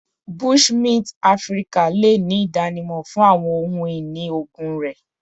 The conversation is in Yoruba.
Bushmint Afirika le ni idanimọ fun awọn ohun-ini oogun rẹ